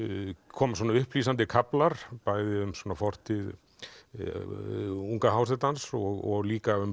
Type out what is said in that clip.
koma svona upplýsandi kaflar bæði um fortíð unga hásetans og líka um